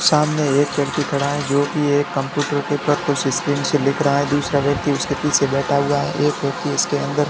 सामने एक व्यक्ति खड़ा है जो की एक कंप्यूटर के ऊपर कुछ स्क्रीन से लिख रहा है दूसरा व्यक्ति उसके पीछे बैठा हुआ है एक व्यक्ति इसके अंदर --